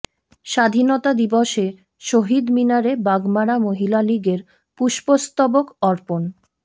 স্বাধীনতা দিবসে শহীদ মিনারে বাগমারা মহিলা লীগের পুষ্পস্তবক অর্পণ